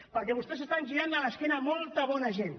perquè vostès estan girant l’esquena a molta bona gent